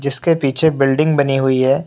जिसके पीछे बिल्डिंग बनी हुई है।